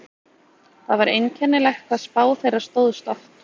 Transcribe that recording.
Það var einkennilegt hvað spá þeirra stóðst oft.